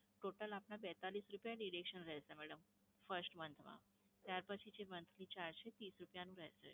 total આપના પેંતાલીસ રૂપયા deduction રહેશે madam, first month માં. ત્યાર પછી જે monthly charge છે, એ ત્રીસ રૂપયાનું રહેશે.